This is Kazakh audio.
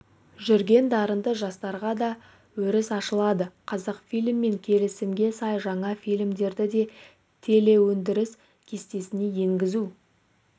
жүрген дарынды жастарға да өріс ашылады қазақфильммен келісімге сай жаңа фильмдерді де телеөндіріс кестесіне енгізу